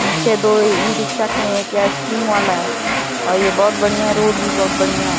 पीछे दो ई-रिक्शा खड़ी है। क्या आइसक्रीम वाला है और ये बहोत बढ़िया रोड भी बहोत बढ़िया है।